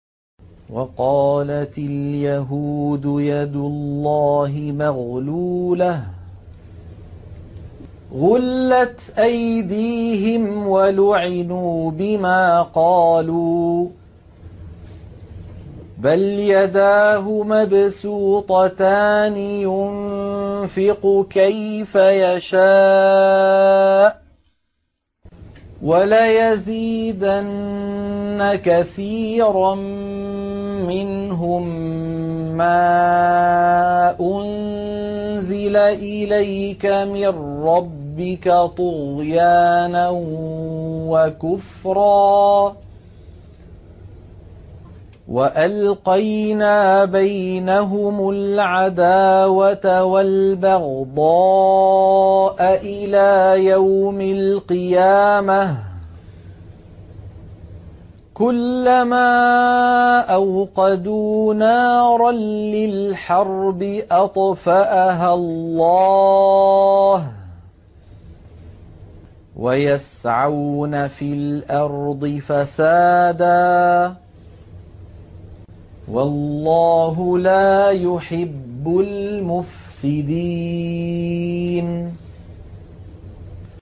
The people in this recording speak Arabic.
وَقَالَتِ الْيَهُودُ يَدُ اللَّهِ مَغْلُولَةٌ ۚ غُلَّتْ أَيْدِيهِمْ وَلُعِنُوا بِمَا قَالُوا ۘ بَلْ يَدَاهُ مَبْسُوطَتَانِ يُنفِقُ كَيْفَ يَشَاءُ ۚ وَلَيَزِيدَنَّ كَثِيرًا مِّنْهُم مَّا أُنزِلَ إِلَيْكَ مِن رَّبِّكَ طُغْيَانًا وَكُفْرًا ۚ وَأَلْقَيْنَا بَيْنَهُمُ الْعَدَاوَةَ وَالْبَغْضَاءَ إِلَىٰ يَوْمِ الْقِيَامَةِ ۚ كُلَّمَا أَوْقَدُوا نَارًا لِّلْحَرْبِ أَطْفَأَهَا اللَّهُ ۚ وَيَسْعَوْنَ فِي الْأَرْضِ فَسَادًا ۚ وَاللَّهُ لَا يُحِبُّ الْمُفْسِدِينَ